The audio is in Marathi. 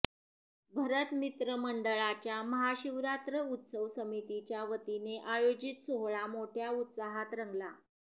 भरत मित्र मंडळाच्या महाशिवरात्र उत्सव समितीच्या वतीने आयोजित सोहळा मोठ्या उत्साहात रंगला